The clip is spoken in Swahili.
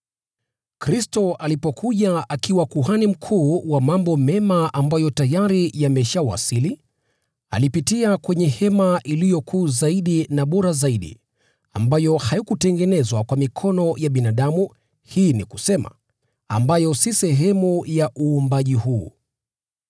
Kristo alipokuja akiwa Kuhani Mkuu wa mambo mema ambayo tayari yameshawasili, alipitia kwenye hema iliyo kuu zaidi na bora zaidi, ambayo haikutengenezwa kwa mikono ya binadamu, hii ni kusema, ambayo si sehemu ya uumbaji huu.